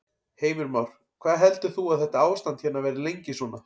Heimir Már: Hvað heldur þú að þetta ástand hérna verði lengi svona?